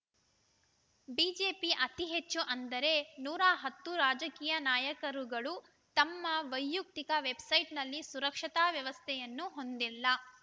ಬಿಜೆಪಿಯ ಅತಿ ಹೆಚ್ಚು ಅಂದರೆ ನೂರ ಹತ್ತು ರಾಜಕೀಯ ನಾಯಕರುಗಳು ತಮ್ಮ ವೈಯಕ್ತಿಕ ವೆಬ್‌ಸೈಟ್‌ನಲ್ಲಿ ಸುರಕ್ಷತಾ ವ್ಯವಸ್ಥೆಯನ್ನು ಹೊಂದಿಲ್ಲ